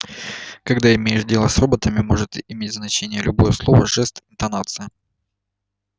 когда имеешь дело с роботами может иметь значение любое слово жест интонация